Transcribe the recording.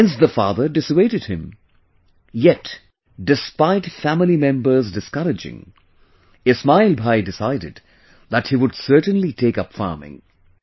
Hence the father dissuaded...yet despite family members discouraging, Ismail Bhai decided that he would certainly take up farming